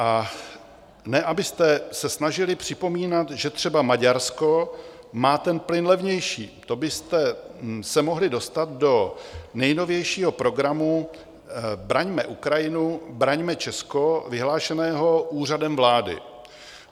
A ne abyste se snažili připomínat, že třeba Maďarsko má ten plyn levnější, to byste se mohli dostat do nejnovějšího programu Braňme Ukrajinu, braňme Česko, vyhlášeného Úřadem vlády.